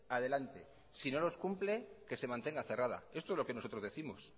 adelante y si no los cumple que se mantenga cerrada esto es lo que nosotros décimos